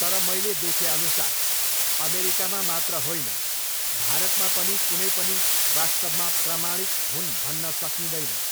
तर मैले देखे अनुसार अमेरिकामा मात्र होईन भारतमा पनि कुनै पनि वास्तवमा प्रमाणिक हुन् भन्न सकिदैन।